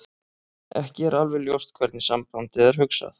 Ekki er alveg ljóst hvernig sambandið er hugsað.